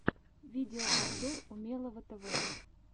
видеообзор умелого тв